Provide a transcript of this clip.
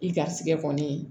I garisigɛ kɔni